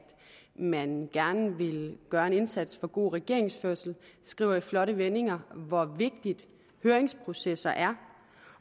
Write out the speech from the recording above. man gerne vil gøre en indsats for god regeringsførelse man skriver i flotte vendinger hvor vigtigt høringsprocesser er